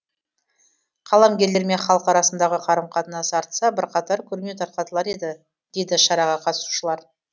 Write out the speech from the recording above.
қаламгерлер мен халық арасындағы қарым қатынас артса бірқатар күрмеу тарқатылар еді дейді шараға қатысушылар